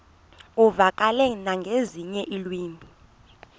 uvakale nangezinye iilwimi